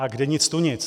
A kde nic tu nic.